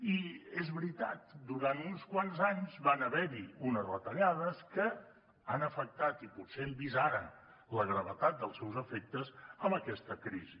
i és veritat durant uns quants anys van haver hi unes retallades que han afectat i potser hem vist ara la gravetat dels seus efectes amb aquesta crisi